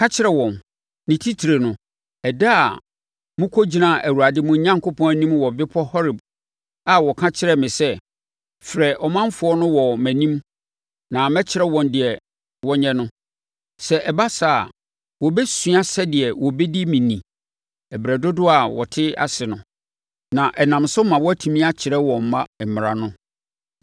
Ka kyerɛ wɔn, ne titire no, ɛda a mokɔgyinaa Awurade mo Onyankopɔn anim wɔ bepɔ Horeb a ɔka kyerɛɛ me sɛ, “Frɛ ɔmanfoɔ no wɔ mʼanim na mɛkyerɛ wɔn deɛ wɔnyɛ no. Sɛ ɛba saa a, wɔbɛsua sɛdeɛ wɔbɛdi me ni berɛ dodoɔ a wɔte ase no, na ɛnam so ma wɔatumi akyerɛ wɔn mma mmara no.”